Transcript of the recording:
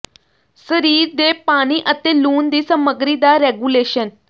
ਸਰੀਰ ਦੇ ਪਾਣੀ ਅਤੇ ਲੂਣ ਦੀ ਸਮਗਰੀ ਦਾ ਰੈਗੂਲੇਸ਼ਨ